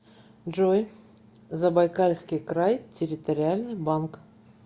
джой забайкальский край территориальный банк